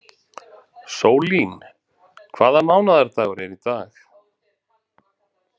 Sólín, hvaða mánaðardagur er í dag?